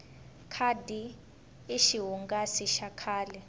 khadi i xihungasi xa kahle